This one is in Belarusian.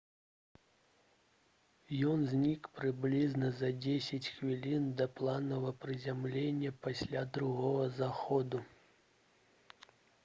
ён знік прыблізна за дзесяць хвілін да планавага прызямлення пасля другога заходу